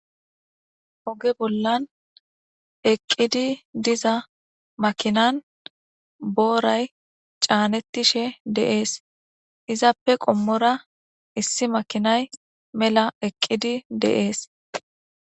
oge bollan eqqidi diza makinan booray caanettishe deees izappe qommora issi makinay mela eqqidi deees